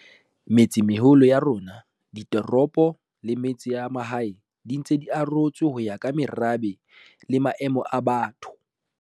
Metsemeholo ya rona, ditoropo le metse ya mahae di ntse di arotswe ho ya ka merabe le maemo a batho.